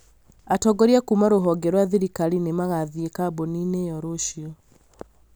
Atongoria kuuma ruhonge rwa thirikari nĩ magathiĩ kambuni-inĩ ĩyo rũciũ